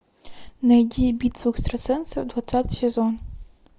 найди битву экстрасенсов двадцатый сезон